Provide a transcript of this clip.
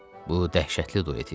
Bu dəhşətli duet idi.